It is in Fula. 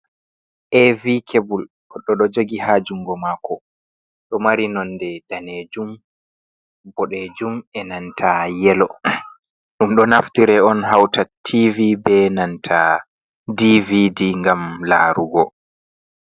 AV kebul goɗɗo ɗo jogi ha jungo mako. Ɗo mari nonde danejum, boɗejum e'nanta yelo. Ɗum ɗo naftire on hauta TV be nanta DVD ngam larugo.